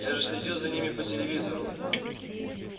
я же следил за ними по телевизору